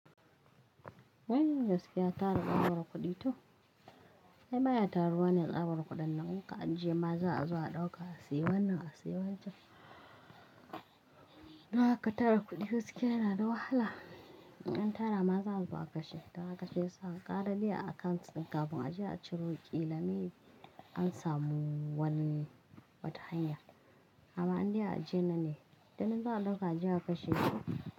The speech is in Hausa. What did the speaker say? Wai gaskiya ta raba waro kuɗi to? Ai ba ya taruwa ne tsabar kuɗan nan kuka ajiye maza a zuwa dauka a siye wannan a siya wancan. Don haka tara kuɗi gaskiya yana da wahala. In tara ma za azo a kashe. Don haka sai sa kara dai a akant kafin a je a ciro ƙilami an samu wani wata hanya. Haba an dai a je na ne? Tuni za a dauka a je a kashe.